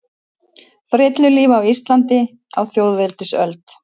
Frillulífi á Íslandi á þjóðveldisöld.